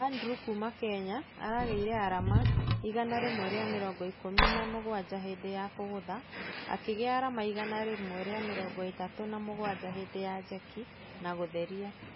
Andrew kuma kenya arageire arama igana rĩmwe rĩa mĩrongo ikũmi na mũgwaja hindĩ ya kũgutha , akĩgĩa arama igana rĩmwe rĩa mĩrongo ĩtatũ na mũgwaja hĩndĩ ya jeki na gũtheria .